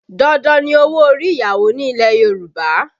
Dandan ni owó orí ìyàwó ní ilẹ̀ Yorùbá